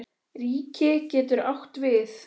Ríki getur átt við